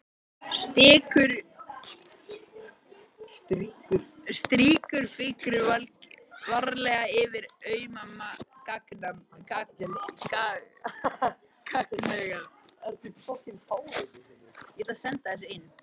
Strýkur fingri varlega yfir auma gagnaugað.